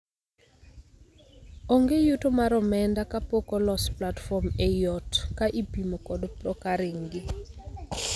Onge yuto mar omenda ka pok olos platform ei ot ka ipimo kod procuring gi.